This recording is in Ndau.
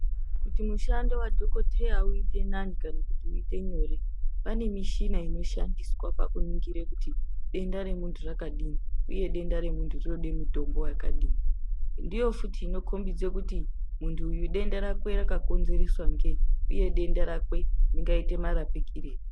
Kuti mushando wadhokodheya uite nani kana kuti uite nyore pane mishina inoshandiswa pakuningira kuti denda remunhu rakadini uye denda remunhu rinode mitombo yakadini ndiyo futi inokombidze kuti muntu uyu denda rakwe rakakonzereswa ngeyi uye denda rakwe ringaite marapikirei.